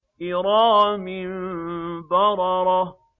كِرَامٍ بَرَرَةٍ